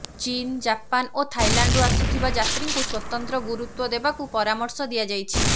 ଚୀନ୍ ଜାପାନ୍ ଓ ଥାଇଲାଣ୍ଡରୁ ଆସୁଥିବା ଯାତ୍ରୀଙ୍କୁ ସ୍ୱତନ୍ତ୍ର ଗୁରୁତ୍ୱ ଦେବାକୁ ପରାମର୍ଶ ଦିଆଯାଇଛି